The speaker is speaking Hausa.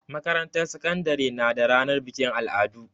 Makarantar sakandare na da ranar bikin al'adu.